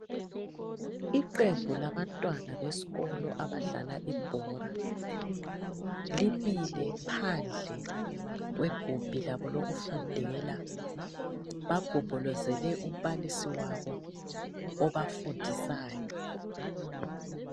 Iqembu labantwana besikolo abadlala ibhola ,limile phandle kwegumbi labo lokufundela. Bagombolozele umbalisi wabo, obafundisayo.